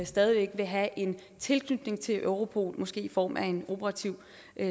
stadig væk vil have en tilknytning til europol måske i form af en operativ